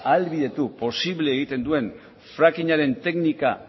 ahalbidetu posible egiten duen frackingaren teknika